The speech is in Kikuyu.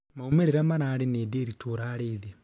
maumĩrĩra mararĩ nĩ Ndiritu urarĩ thĩ